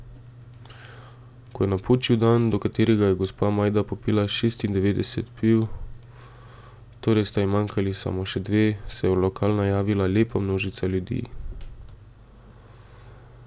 Ko je napočil dan, do katerega je gospa Majda popila šestindevetdeset piv, torej sta ji manjkali samo še dve, se je v lokal najavila lepa množica ljudi.